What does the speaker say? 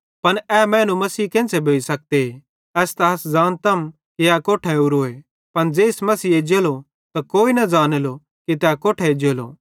पन ए मैनू मसीह केन्च़रे भोइ सकते एस त अस ज़ानतम कि ए कोट्ठां ओरोए पन ज़ेइस मसीह एज्जेलो त कोई न ज़ानेलो कि तै कोट्ठां एज्जेलो